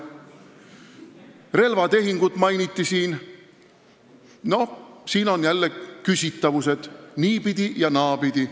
Siin mainiti relvatehingut, mille puhul on jälle küsitavusi niipidi ja naapidi.